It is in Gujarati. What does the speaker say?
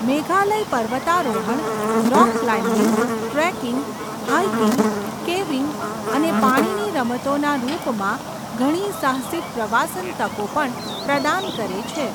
મેઘાલય પર્વતારોહણ, rock climbing, trekking, hiking, caving અને પાણીની રમતોના રૂપમાં ઘણી સાહસિક પ્રવાસન તકો પણ પ્રદાન કરે છે.